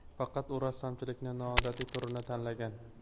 Faqat u rassomchilikning noodatiy turini tanlagan.